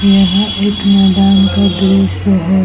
यह एक मैदान का दृश्य है।